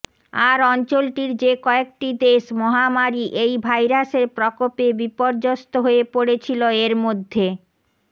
আর অঞ্চলটির যে কয়েকটি দেশ মহামারি এই ভাইরাসের প্রকোপে বিপর্যস্ত হয়ে পড়েছিল এর মধ্যে